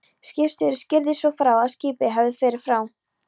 Skipstjóri skýrði svo frá, að skipið hefði farið frá